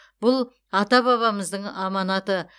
бұл ата бабамыздың аманаты